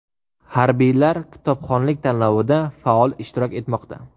Harbiylar kitobxonlik tanlovida faol ishtirok etmoqda .